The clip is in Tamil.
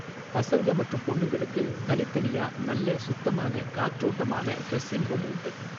பசங்க மற்றும் பொண்ணுங்களுக்கு தனித்தனியா நல்ல சுத்தமான காற்றோட்டமான ட்ரெஸிங் ரூம் உண்டு.